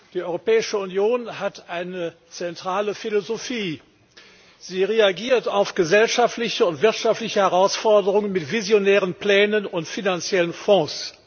Die Europäische Union hat eine zentrale Philosophie Sie reagiert auf gesellschaftliche und wirtschaftliche Herausforderungen mit visionären Plänen und finanziellen Fonds.